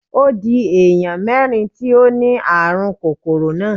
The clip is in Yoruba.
Ó di èèyàn mérìn tí ó ni ààrùn kòróná.